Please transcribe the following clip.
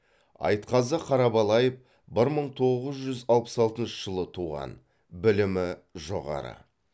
айтқазы қарабалаев бір мың тоғыз жүз алпыс алтыншы жылы туған білімі жоғары